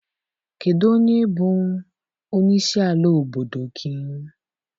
Kedụ onye bụ onye isi ala obodo gị?